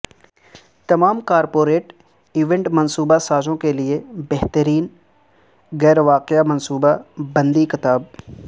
تمام corporate event منصوبہ سازوں کے لئے بہترین غیر واقعہ منصوبہ بندی کتاب